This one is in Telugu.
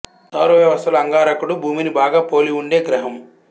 సౌర వ్యవస్థలో అంగారకుడు భూమిని బాగా పోలి ఉండే గ్రహం